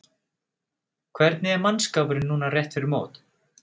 Hvernig er mannskapurinn núna rétt fyrir mót?